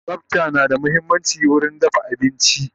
Tsafta na da muhimmanci wurin dafa abinci